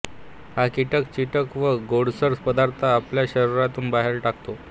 हा कीटक चिकट व गोडसर पदार्थ आपल्या शरीरातून बाहेर टाकतो